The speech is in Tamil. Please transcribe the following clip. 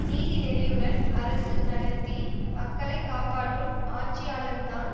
நீதி நெறியுடன் அரசு நடத்தி மக்களை காப்பாற்றும் ஆட்சியாளன்தான்